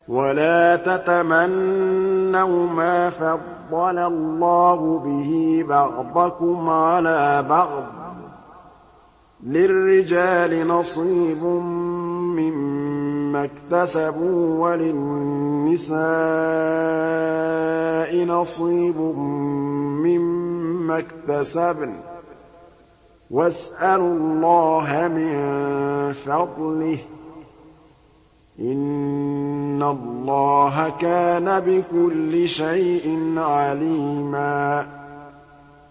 وَلَا تَتَمَنَّوْا مَا فَضَّلَ اللَّهُ بِهِ بَعْضَكُمْ عَلَىٰ بَعْضٍ ۚ لِّلرِّجَالِ نَصِيبٌ مِّمَّا اكْتَسَبُوا ۖ وَلِلنِّسَاءِ نَصِيبٌ مِّمَّا اكْتَسَبْنَ ۚ وَاسْأَلُوا اللَّهَ مِن فَضْلِهِ ۗ إِنَّ اللَّهَ كَانَ بِكُلِّ شَيْءٍ عَلِيمًا